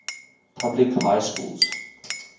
public high schools